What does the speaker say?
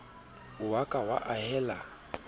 o a ka wa ahela